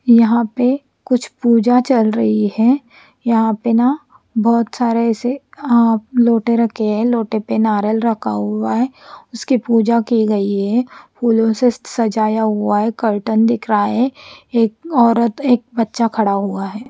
यहा पे कुछ पूजा चल रही है यहा पेना बहोत सारे ऐसे आप लोटे रखे है लोटे पे नारल रखा हुआ है उसकी पूजा की गई है फुला से सजाया हुआ है कर्टन दिख रहा है एक ओरत एक बच्चा खड़ा हुआ है।